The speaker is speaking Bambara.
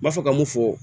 N b'a fɔ ka mun fɔ